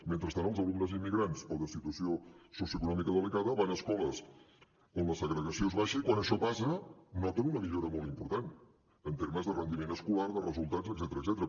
mentrestant els alumnes immigrants o de situació socioeconòmica delicada van a escoles on la segregació és baixa i quan això passa noten una millora molt important en termes de rendiment escolar de resultats etcètera